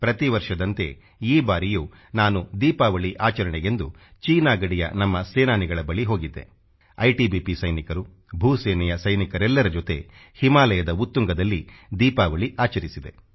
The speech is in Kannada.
ಪ್ರತಿವರ್ಷದಂತೆ ಈ ಬಾರಿಯೂ ನಾನು ದೀಪಾವಳಿ ಆಚರಣೆಗೆಂದು ಚೀನಾ ಗಡಿಯ ನಮ್ಮ ಸೇನಾನಿಗಳ ಬಳಿ ಹೋಗಿದ್ದೆ ಐಟಿಬಿಪಿ ಸೈನಿಕರು ಭೂ ಸೇನೆಯ ಸೈನಿಕರೆಲ್ಲರ ಜೊತೆ ಹಿಮಾಲಯದ ಉತ್ತುಂಗದಲ್ಲಿ ದೀಪಾವಳಿ ಆಚರಿಸಿದೆ